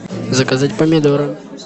заказать помидоры